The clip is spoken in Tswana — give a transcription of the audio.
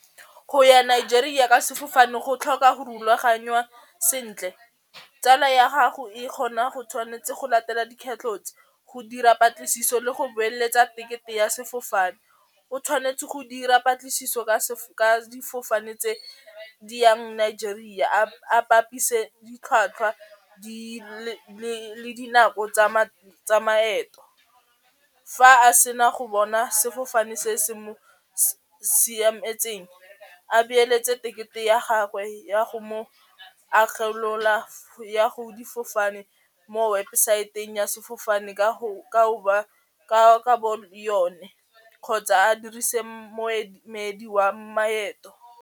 Go ya Nigeria ka sefofane go tlhoka go rulaganywa sentle, tsala ya gago e kgona go tshwanetse go latela tse, go dira patlisiso le go beeletsa tekete ya sefofane. O tshwanetse go dira patlisiso ka difofane tse di yang Nigeria a bapise ditlhwatlhwa le dinako tsa maeto, fa a sena go bona sefofane se se mo siametseng, a beeletse tekete ya gagwe ya go mo ya go difofane mo webosaeteng ya sefofane ka bo yone kgotsa a dirise moemedi wa maeto.